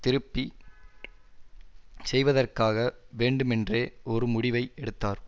திருப்பி செய்வதற்காக வேண்டுமென்றே ஒரு முடிவை எடுத்தார்